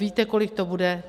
Víte, kolik to bude?